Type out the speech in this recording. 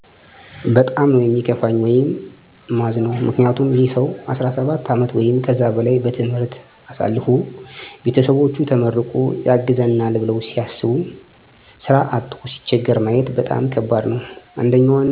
በጣም ነው ሚከፋኝ ወይም ማዝነው ምክንያቱም ይህ ሰው 17 አመት ወይም ከዛ በላይ በትምህርት አሳልፎ ቤተሰቦቹ ተመርቆ ያግዘናል ብለው ሲያስቡ ስራ አቶ ሲቸገር ማየት በጣም ከባድ ነው። አንደኛው እና ዋነኛው ነገር ሙስና ነው አሁን ላይ ስራ ተወዳድሮ ማግኜት ጭራሽ ማይታሰብ ነገር ነው። የግድ ዘመድ ወይም ገንዘብ ሊኖርህ ይገባል ስራ ለመቀጠር በይበልጥ ደግሞ ገንዘብ በጣም አሰፈላጊ ነው። የሀገሬ ሰው እንደሚለው ገንዘብ ካለ በሰማይ መንገድ አለ።